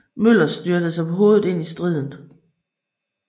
Møller styrtede sig på hovedet ind i striden